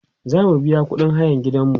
zamu biya ƙuɗin hayan gidanmu